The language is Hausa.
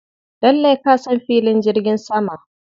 Lallai ka san filin jirgin sama.